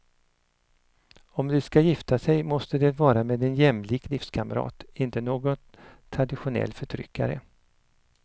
Om de ska gifta sig måste det vara med en jämlik livskamrat, inte någon traditionell förtryckare.